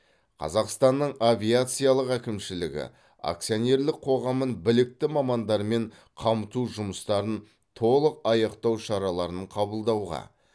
қазақстанның авиациялық әкімшілігі акционерлік қоғамын білікті мамандармен қамту жұмыстарын толық аяқтау шараларын қабылдауға